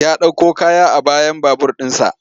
Ya ɗauko kaya a bayan babur ɗinsa.